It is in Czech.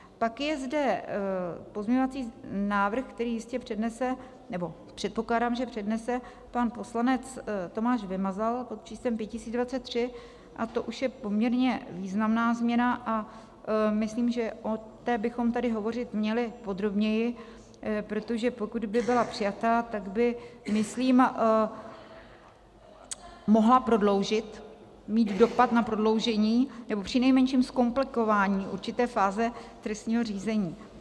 Pak je zde pozměňovací návrh, který jistě přednese, nebo předpokládám, že přednese pan poslanec Tomáš Vymazal, pod číslem 5023, a to už je poměrně významná změna a myslím, že o té bychom tady hovořit měli podrobněji, protože pokud by byla přijata, tak by, myslím, mohla prodloužit, mít dopad na prodloužení, nebo přinejmenším zkomplikování určité fáze trestního řízení.